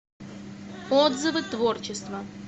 отзывы творчество